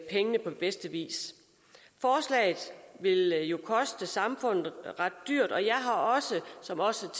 pengene på bedste vis forslaget vil jo koste samfundet ret dyrt og jeg har som også